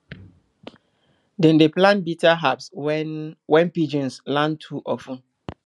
dem dey plant bitter herbs when when pigeons land too of ten